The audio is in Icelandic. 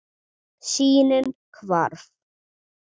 Sýnin hvarf.